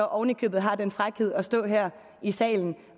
oven i købet har den frækhed at stå her i salen